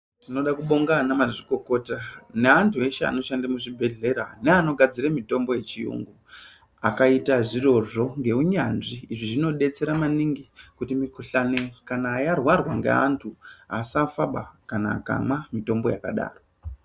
Tinode kubonga ana mazvikokota neantu eshe anoshande muzvibhodhlera neanogadzire mitombo yechiyungu akaite zvirozvo ngeunyanzvi zvinodetsera maningi kuti mikhuhlani kana yararwa ngeantu asafabaa kana amwa mitombo yakadaro.